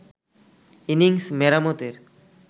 innings মেরামতের